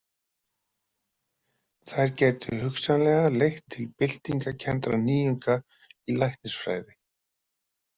Þær gætu hugsanlega leitt til byltingarkenndra nýjunga í læknisfræði.